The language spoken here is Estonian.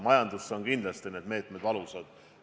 Majanduses kindlasti on need meetmed valusad.